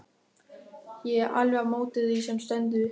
Ég er alveg á móti því sem stendur.